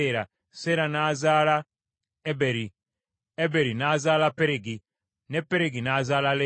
Seera n’azaala Eberi, Eberi n’azaala Peregi, ne Peregi n’azaala Lewu.